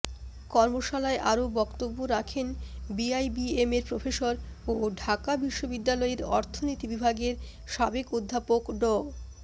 কর্মশালায় আরও বক্তব্য রাখেন বিআইবিএমের প্রফেসর ও ঢাকা বিশ্ববিদ্যালয়ের অর্থনীতি বিভাগের সাবেক অধ্যাপক ড